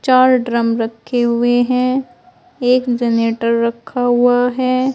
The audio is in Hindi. चार ड्रम रखें हुए हैं एक जनरेटर रखा हुआ है।